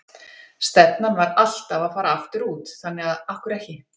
Stefnan var alltaf að fara aftur út, þannig að af hverju ekki?